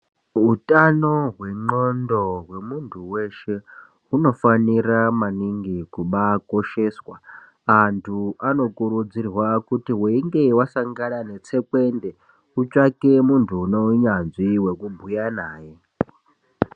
Utano hwendxondo hwemuntu weshe hunofanira maningi kubakosheswa antu anokurudzirwa kuti weinge wasangana netsekwende utsvake muntu uno unyanzvi wekubhuya naye